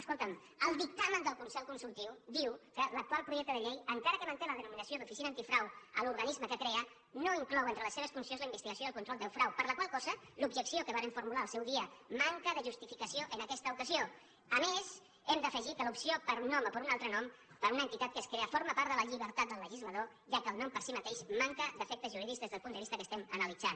escolta’m el dictamen del consell consultiu diu que l’actual projecte de llei encara que manté la denominació d’oficina antifrau a l’organisme que crea no inclou entre les seves funcions la investigació i el control del frau per la qual cosa l’objecció que varen formular al seu dia manca de justificació en aquesta ocasió a més hem d’afegir que l’opció d’un nom o d’un altre nom per a una entitat que es crea forma part de la llibertat del legislador ja que el nom per si mateix manca d’efectes jurídics des del punt de vista que estem analitzant